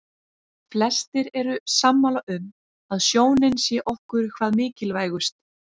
Flestir eru sammála um að sjónin sé okkur hvað mikilvægust.